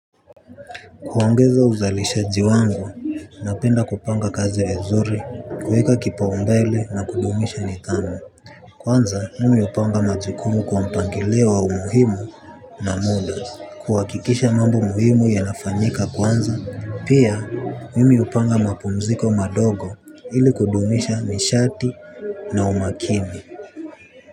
Kuongeza uzalishaji wangu, napenda kupanga kazi iwe nzuri, kuweka kipaumbele na kudumisha nidhamu. Kwanza, mimi hupanga majukumu kwa mpangilio wa umuhimu na muda, kuhakikisha mambo muhimu yanafanyika kwanza, pia mimi hupanga mapumziko madogo ili kudumisha nishati na umakini.